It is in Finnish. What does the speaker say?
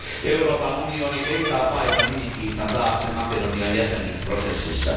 Euroopan unioni ei saa paeta nimikiistan taakse Makedonian jäsenyysprosessissa.